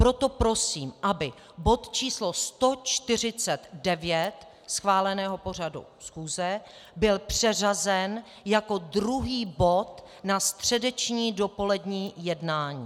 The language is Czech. Proto prosím, aby bod číslo 149 schváleného pořadu schůze byl přeřazen jako druhý bod na středeční dopolední jednání.